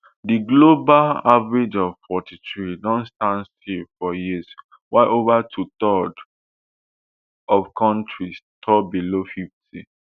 di global average of forty-three don stand still for years while over twothirds of kontris score below fifty